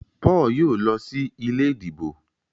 Paul yóò ló sí ilé ìdìbò.